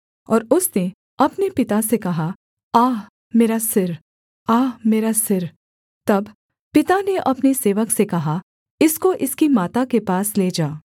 और उसने अपने पिता से कहा आह मेरा सिर आह मेरा सिर तब पिता ने अपने सेवक से कहा इसको इसकी माता के पास ले जा